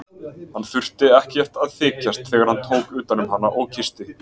Hann þurfti ekkert að þykjast þegar hann tók utan um hana og kyssti.